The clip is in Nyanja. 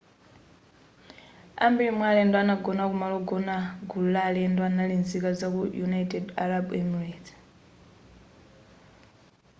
ambiri mwa alendo anagona kumalo ogona gulu la alendo anali nzika zaku united arab emirates